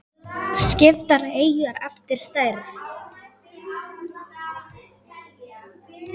Skiptar eyjar eftir stærð